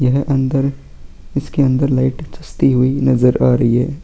यह अंदर इसके अंदर लाइट जलती हुई नज़र आ रही है।